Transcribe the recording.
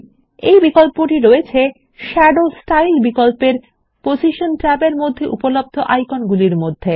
এইটা এখানে দৃশ্যমান শাদো স্টাইল বিকল্পের পজিশন ট্যাবের মধ্যে উপলব্ধ বিভিন্ন আইকন মধ্যে